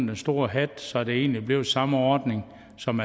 den store hat så det egentlig blev den samme ordning som